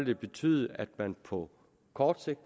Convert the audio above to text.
det betyde at man på kort sigt